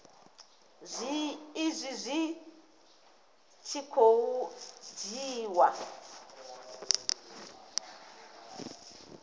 izwi zwi tshi khou dzhiiwa